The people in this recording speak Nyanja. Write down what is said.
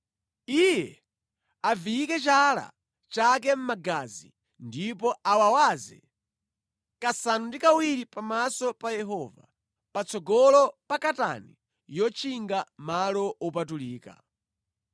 Iye aviyike chala chake mʼmagazi, ndipo awawaze kasanu ndi kawiri pamaso pa Yehova, patsogolo pa katani yotchinga malo wopatulika.